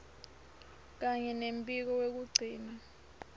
kanye nembiko wekugcina